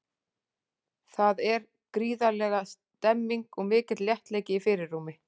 Þar er gríðarleg stemning og mikill léttleiki í fyrirrúmi.